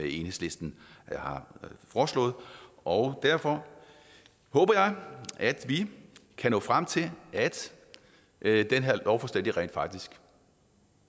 enhedslisten har foreslået og derfor håber jeg at vi kan nå frem til at at det her lovforslag rent faktisk